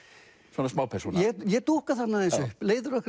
svona ég dúkka þarna aðeins upp leiðir okkar